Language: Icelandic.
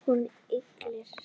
Hún ygglir sig.